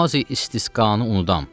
Namazi İstisqanı unudam.